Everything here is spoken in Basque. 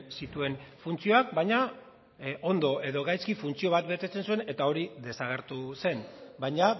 zituen funtzioak baina ondo edo gaizki funtzio bat betetzen zuen eta hori desagertu zen baina